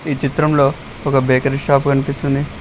ఈ చిత్రంలో ఒక బేకరీ షాపు కనిపిస్తుంది.